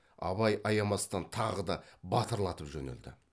абай аямастан тағы да батырлатып жөнелді